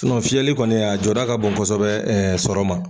fiyɛli kɔni a jɔda ka bon kosɛbɛ sɔrɔ ma.